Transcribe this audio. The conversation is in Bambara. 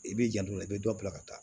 I b'i janto i be dɔ bila ka taa